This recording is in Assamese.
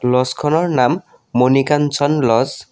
ল'জখনৰ নাম মনিকাঞ্চন ল'জ ।